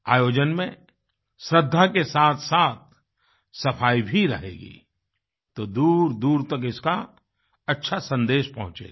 आयोजन में श्रद्धा के साथसाथ सफाई भी रहेगी तो दूरदूर तक इसका अच्छा संदेश पहुंचेगा